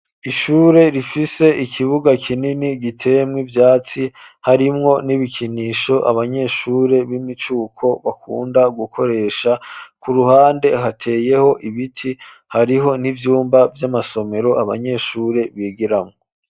Ishure, rifise ikibuga kinini, giteyemwo ivyatsi, harimwo n'ibikinisho, abanyeshure b'imicuko, bakunda gukoresha; ku ruhande, hateyeho ibiti; hariho n'ivyumba vy'amasomero, abanyeshure bigiramwo.